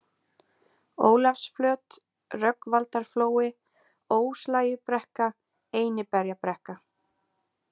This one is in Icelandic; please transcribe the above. Ólafsflöt, Rögnvaldarflói, Óslægjubrekka, Einiberjabrekka